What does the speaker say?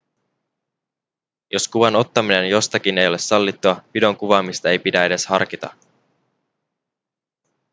jos kuvan ottaminen jostakin ei ole sallittua videon kuvaamista ei pidä edes harkita